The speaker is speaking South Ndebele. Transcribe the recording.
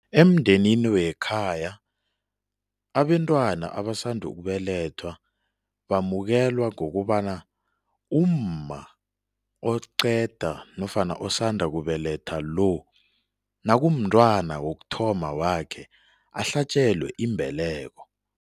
Emndenini wekhaya abentwana abasanda ukubelethwa bamukelwe ngokobana umma oqeda nofana osanda kubeletha lo, nakumntwana wokuthoma wakhe ahlatjelwe imbeleko.